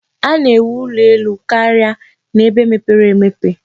A na-ewu ụlọ elu karia n'ebe mepere emepe.